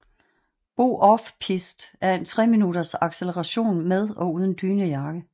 BO OFF PISTE er tre minutters acceleration med og uden dynejakke